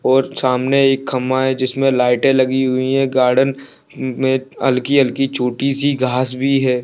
और सामने एक खंभा है जिसमें लाइटें लगी हुई है और गार्डन में हल्की-हल्की छोटी-सी घास भी है।